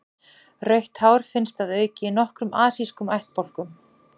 Rautt hár finnst að auki í nokkrum asískum ættbálkum.